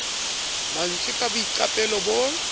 ma ntswe ka boiqapelo bo